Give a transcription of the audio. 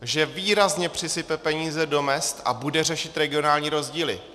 Že výrazně přisype peníze do mezd a bude řešit regionální rozdíly.